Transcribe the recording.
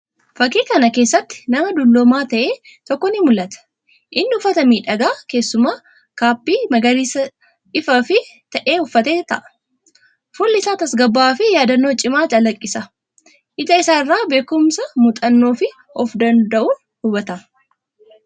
Fakkii kana keessatti nama dulloomaa ta’e tokko ni mul’ata. Inni uffata miidhagaa, keessumaa kaappii magariisa ifaa fi ta'e uffatee ta’a. Fuulli isaa tasgabbaa’aa fi yaadannoo cimaa calaqqisa. Ija isaa irraa beekumsa, muuxannoo fi of-danda’uun hubatama.